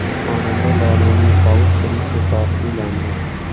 Xonanda Lolaning sobiq turmush o‘rtog‘i uylandi.